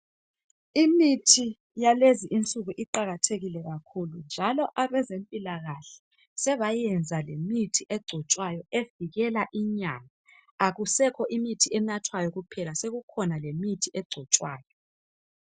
Imithi yalezi insuku iqakathekile kakhulu njalo labezempilakahle sebayenza lemithi egcotshwayo evikela inyama. Akusekho imithi enathwayo kuphela, sekukhona lemithi egcotshwayo.